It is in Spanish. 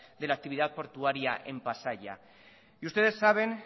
de la actividad portuaria en pasaia y ustedes saben